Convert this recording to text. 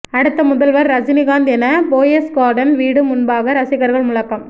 அடுத்த முதல்வர் ரஜினிகாந்த் என போயஸ் கார்டன் வீடு முன்பாக ரசிகர்கள் முழக்கம்